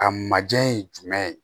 A majɛ ye jumɛn ye